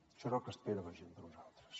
això és el que espera la gent de nosaltres